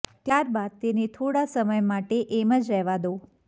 ત્યારબાદ તેને થોડા સમય માટે એમ જ રહેવા દો